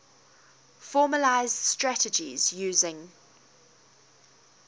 formalised strategies using